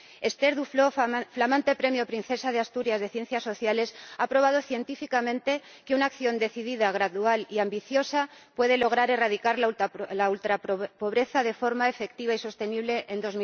Esther Duflo, flamante premio Princesa de Asturias de Ciencias Sociales, ha probado científicamente que una acción decidida, gradual y ambiciosa puede lograr erradicar la ultrapobreza de forma efectiva y sostenible en